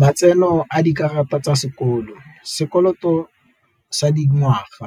Matseno a dikarata tsa sekolo, sekoloto sa di ngwaga,